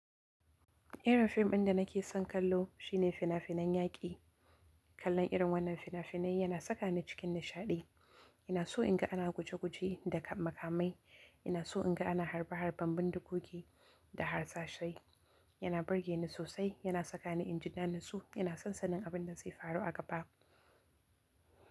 Irin fim ɗin da nake son kallo shine fina finan yaƙi. Kallon irin wannan fina finai yana saka ni cikin nishadi ina so in ga ana guje guje da kama kamai. Ina so inga ana harbe harben bindigogi, da harsashai yana burge ni sosai. Yana saka ni in ji na natsu ina son sanin abin da zai faru a gaba.